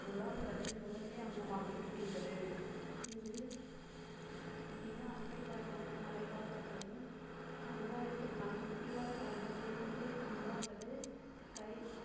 பொருளாதாரத்தில் முதன்மை அங்கமாக இருக்கின்றது இங்கு மிக அண்மைக்காலமாக மலைவாழ் மக்களின் சமுதாயத்திற்கான சுற்றுலா சார்ந்த தேசிய பூங்கா அல்லது sky